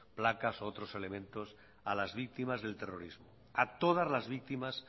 placas o otros elementos a las víctimas del terrorismo a todas las víctimas